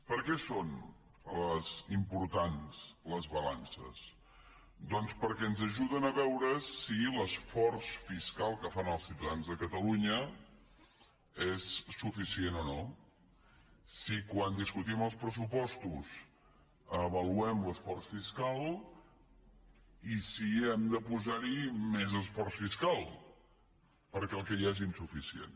per què són importants les balances doncs perquè ens ajuden a veure si l’esforç fiscal que fan els ciutadans de catalunya és suficient o no si quan discutim els pressupostos avaluem l’esforç fiscal i si hem de posar hi més esforç fiscal perquè el que hi ha és insuficient